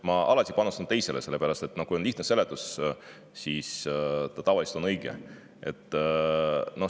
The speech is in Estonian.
Ma panustan alati teisele, sest lihtne seletus on tavaliselt õige.